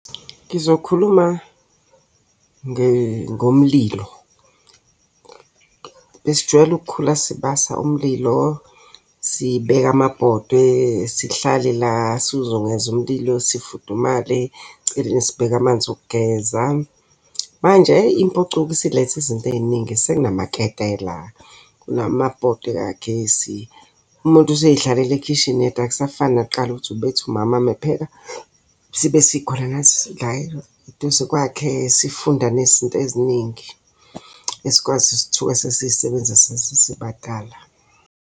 Ngizokhuluma ngomlilo. Besijwayele ukukhula sibasa umlilo, sibeka amabhodwe, sihlale la sizungeze umlilo sifudumale. Eceleni sibeke amanzi okugeza. Manje impucuko isilethe izinto ey'ningi, sekunamaketela, kunamabhodwe kagesi. Umuntu usey'hlalela ekhishini yedwa akusafani nakuqala ukuthi ubethi umama uma epheka, sibe sikhona nathi sila eduze kwakhe sifunda nezinto eziningi. Esikwazi ukuthi sithuke sesisebenzisa sesesibadala.